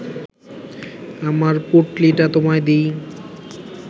আমার পুঁটলিটা তোমায় দিই